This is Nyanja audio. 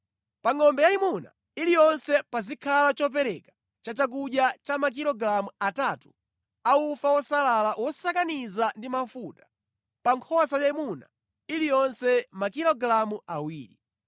Pa ngʼombe yayimuna iliyonse pazikhala chopereka cha chakudya cha makilogalamu atatu a ufa wosalala wosakaniza ndi mafuta, pa nkhosa yayimuna iliyonse makilogalamu awiri.